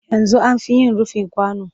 Yanzu an fi yin rufi kwano